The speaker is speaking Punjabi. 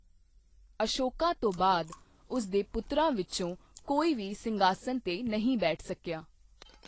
ਅਸ਼ੋਕਾ ਤੋਂ ਬਾਅਦ ਉਸ ਦੇ ਪੁੱਤਰਾਂ ਵਿੱਚੋਂ ਕੋਈ ਵੀ ਸਿੰਘਾਸਣ 'ਤੇ ਨਹੀਂ ਬੈਠ ਸਕੀਆ।